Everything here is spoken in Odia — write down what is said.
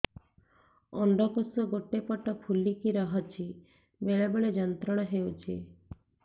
ଅଣ୍ଡକୋଷ ଗୋଟେ ପଟ ଫୁଲିକି ରହଛି ବେଳେ ବେଳେ ଯନ୍ତ୍ରଣା ହେଉଛି